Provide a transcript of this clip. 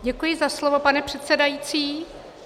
Děkuji za slovo, pane předsedající.